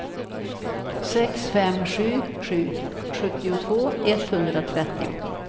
sex fem sju sju sjuttiotvå etthundratrettio